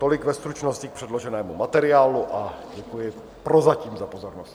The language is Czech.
Tolik ve stručnosti k předloženému materiálu a děkuji prozatím za pozornost.